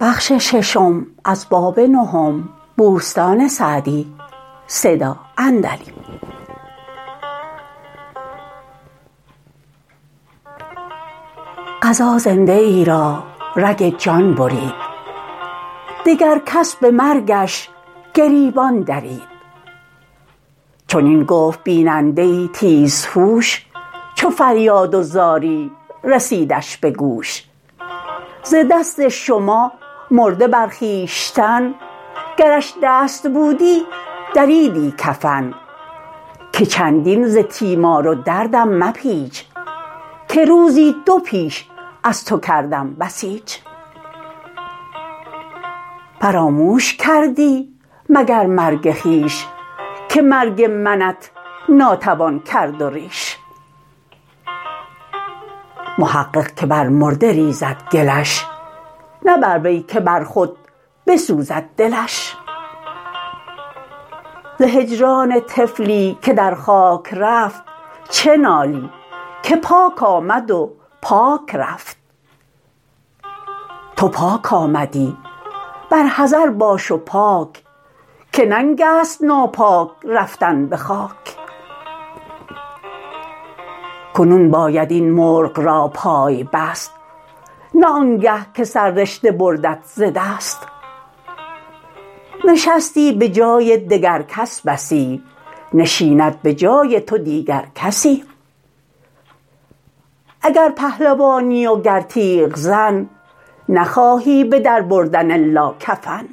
قضا زنده ای را رگ جان برید دگر کس به مرگش گریبان درید چنین گفت بیننده ای تیز هوش چو فریاد و زاری رسیدش به گوش ز دست شما مرده بر خویشتن گرش دست بودی دریدی کفن که چندین ز تیمار و دردم مپیچ که روزی دو پیش از تو کردم بسیچ فراموش کردی مگر مرگ خویش که مرگ منت ناتوان کرد و ریش محقق که بر مرده ریزد گلش نه بر وی که بر خود بسوزد دلش ز هجران طفلی که در خاک رفت چه نالی که پاک آمد و پاک رفت تو پاک آمدی بر حذر باش و پاک که ننگ است ناپاک رفتن به خاک کنون باید این مرغ را پای بست نه آنگه که سررشته بردت ز دست نشستی به جای دگر کس بسی نشیند به جای تو دیگر کسی اگر پهلوانی و گر تیغزن نخواهی به در بردن الا کفن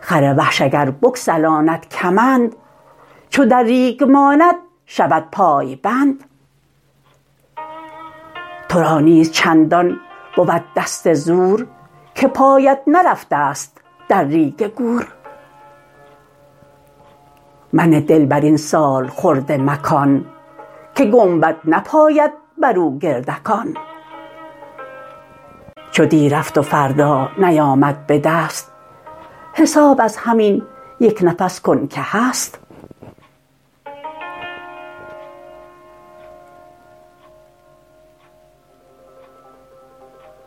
خر وحش اگر بگسلاند کمند چو در ریگ ماند شود پای بند تو را نیز چندان بود دست زور که پایت نرفته ست در ریگ گور منه دل بر این سالخورده مکان که گنبد نپاید بر او گردکان چو دی رفت و فردا نیامد به دست حساب از همین یک نفس کن که هست